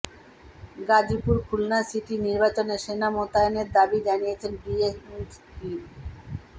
Gazipur Khulna city নির্বাচনে সেনা মোতায়েনের দাবি জানিয়েছে বিএনপি